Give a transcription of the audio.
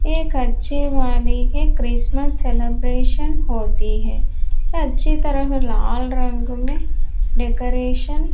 एक अच्छे वाले के क्रिसमस सेलिब्रेशन होती है अच्छी तरह लाल रंग में डेकोरेशन --